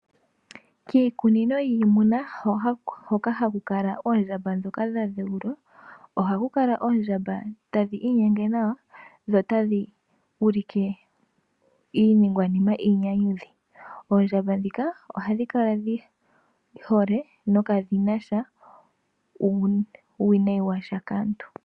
Kiikunino yiinamwenyo hoka haku kala oondjamba ndhoka dha dheulwa ohaku kala oondjamba tadhi inyenge nawa dho otadhi ulike iiningwanima iinyanyudhi. Oondjamba ndhika ohadhi kala dhi hole nokadhi na sha uuwinayi wa sha kaantu.